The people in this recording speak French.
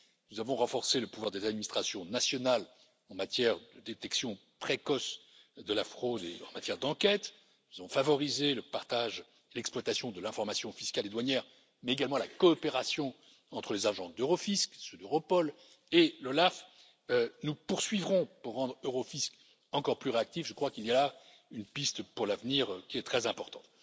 Nous avons renforcé le pouvoir des administrations nationales en matière de détection précoce de la fraude en matière d'enquête, nous avons favorisé le partage et l'exploitation de l'information fiscale et douanière, mais également la coopération entre les agences d'Eurofisc, celles d'Europol et l'Olaf. Nous poursuivrons pour rendre Eurofisc encore plus réactif, je crois qu'il y a là une piste pour l'avenir qui est très importante.